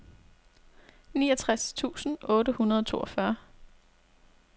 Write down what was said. niogtres tusind otte hundrede og toogfyrre